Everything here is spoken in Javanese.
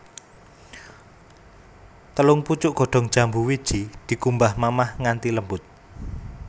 Telung pucuk godhong jambu wiji dikumbah mamah nganthi lembut